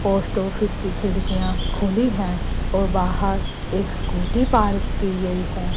Post office की खिड़कियां खुली है और बाहर एक स्कूटी पार्क की गई है।